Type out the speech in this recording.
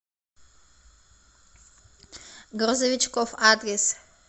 грузовичкоф адрес